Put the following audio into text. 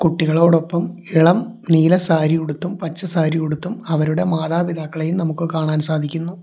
കുട്ടികളോടൊപ്പം ഇളം നീല സാരിയുടുത്തും പച്ച സാരി ഉടുത്തും അവരുടെ മാതാപിതാക്കളെയും നമുക്ക് കാണാൻ സാധിക്കുന്നു.